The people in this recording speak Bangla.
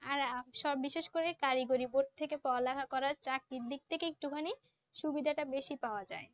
আর সব বিশেষ করে কারিগরি Board থেকে ফলাহা করা চাকরির দিক থেকে একটুখানি সুবিধাটা বেশি পাওয়া যায়